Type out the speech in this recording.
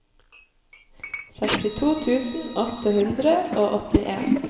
sekstito tusen åtte hundre og åttien